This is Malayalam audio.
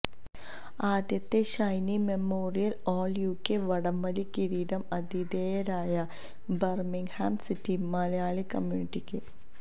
ആദ്യത്തെ ഷൈനി മെമ്മോറിയല് ഓള് യുകെ വടംവലി കിരീടം ആതിഥേയരായ ബര്മ്മിംഗ്ഹാം സിറ്റി മലയാളി കമ്യൂണിറ്റിക്ക്